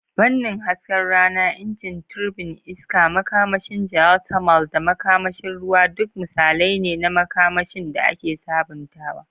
Fannin hasken rana, injin turbin iska, makamashin geothermal, da makamashin ruwa duk misalai ne na makamashin da ake sabuntawa.